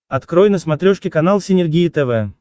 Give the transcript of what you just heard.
открой на смотрешке канал синергия тв